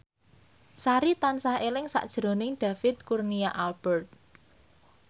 Sari tansah eling sakjroning David Kurnia Albert